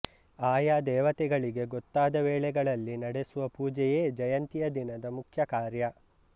ಆಯಾ ದೇವತೆಗಳಿಗೆ ಗೊತ್ತಾದ ವೇಳೆಗಳಲ್ಲಿ ನಡೆಸುವ ಪೂಜೆಯೇ ಜಯಂತಿಯ ದಿನದ ಮುಖ್ಯ ಕಾರ್ಯ